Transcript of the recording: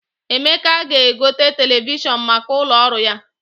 Emeka ga-egote televishọn maka ụlọ ọrụ ya.